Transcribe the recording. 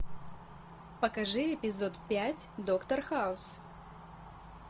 покажи эпизод пять доктор хаус